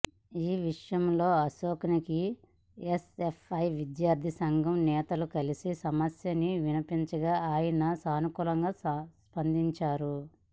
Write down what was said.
ఈ విషయంలో అశోక్ని ఎస్ఎఫ్ఐ విద్యార్థి సంఘం నేతలు కలిసి సమస్యని విన్నవించగా ఆయన సానుకూలంగా స్పందించారు